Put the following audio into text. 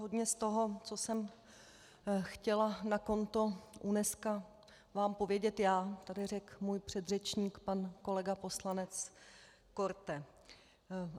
Hodně z toho, co jsem chtěla na konto UNESCO vám povědět já, tady řekl můj předřečník pan kolega poslanec Korte.